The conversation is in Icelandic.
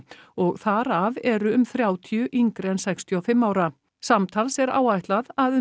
og þar af eru um þrjátíu yngri en sextíu og fimm ára samtals er áætlað að